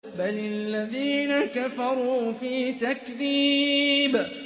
بَلِ الَّذِينَ كَفَرُوا فِي تَكْذِيبٍ